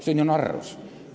See on ju narrus.